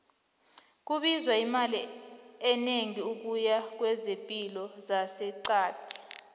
kubiza imali enegi ukuya kwezepilo zase qadi